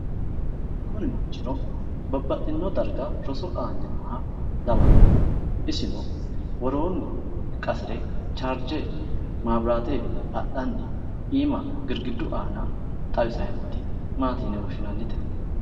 Kuni manchino babbaxitino darga roso aanni nooha lawannohu isino woroonni qasire charge mabiraatewiinni adhanni iima girgiduwiinni aana xawissanni nooti Maati yine woshshinannite?